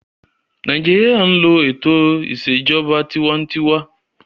Nàìjíríyà n lo ètò ìṣèjọba tinwatinwa